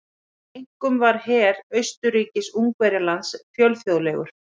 Einkum var her Austurríkis-Ungverjalands fjölþjóðlegur.